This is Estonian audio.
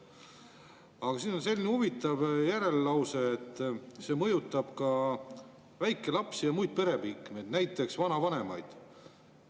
Aga siin järel on selline huvitav lause: "Samuti mõjutab eelnõu vastu võtmata jätmine ka hooldatavaid väikelapsi ja muid pereliikmeid .